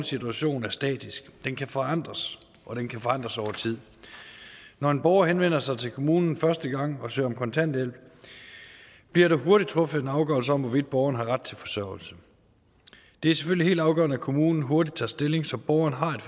situation er statisk den kan forandres og den kan forandres over tid når en borger henvender sig til kommunen første gang og søger om kontanthjælp bliver der hurtigt truffet en afgørelse om hvorvidt borgeren har ret til forsørgelse det er selvfølgelig helt afgørende at kommunen hurtigt tager stilling så borgeren har